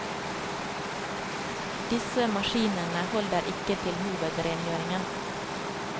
Disse maskinene holder ikke til hovedrengjøringen.